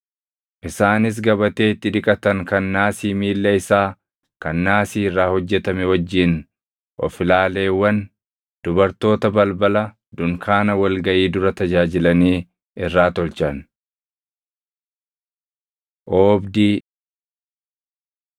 Isaanis gabatee itti dhiqatan kan naasii miilla isaa kan naasii irraa hojjetame wajjin of ilaaleewwan dubartoota balbala dunkaana wal gaʼii dura tajaajilanii irraa tolchan. Oobdii 38:9‑20 kwf – Bau 27:9‑19